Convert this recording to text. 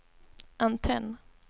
antenn